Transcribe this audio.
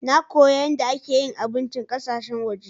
Nna koya yadde ake yin abincin ƙasashen waje.